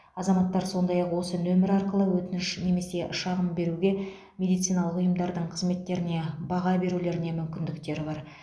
азаматтар сондай ақ осы нөмер арқылы өтініш немесе шағым беруге медициналық ұйымдардың қызметтеріне баға берулеріне мүмкіндіктері бар